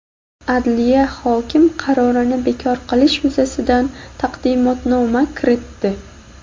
Adliya hokim qarorini bekor qilish yuzasidan taqdimnoma kiritdi.